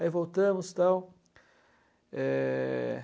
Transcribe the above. Aí voltamos e tal. É...